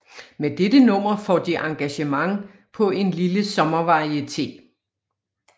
Med dette nummer får de engagement på en lille sommervarieté